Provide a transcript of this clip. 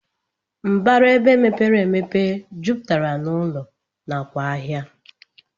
Mbara ebe mepere emepe juputara na ụlọ nakwa ahia.